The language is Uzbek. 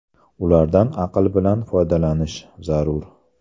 Ulardan aql bilan foydalanish zarur.